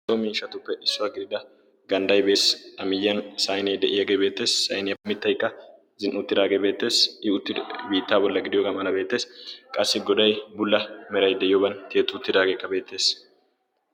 so miishatuppe issuwaa gidida gandday dees. a miyyiyan sainee de7iyaageebeettees sainiyaapimittaikka zin"i uttiraagee beettees. i uttiri biittaa bolla gidiyoo gam"ana beetees qassi godai bulla merai de'yooban tietu uttiraageekka beettees.